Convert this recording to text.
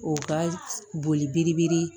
O ka boli biri biri